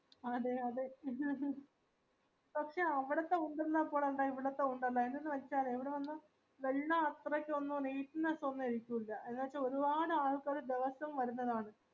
അതെ അതെ പക്ഷെ അവിടത്തെ പോലെ ഇവടത്തെ ന്തെ ഇവി വെച്ച വെള്ളം അത്രയ്ക്കൊന്നും neatness ഒന്നായര്ക്കുല